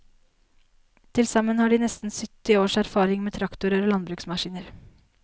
Til sammen har de nesten sytti års erfaring med traktorer og landbruksmaskiner.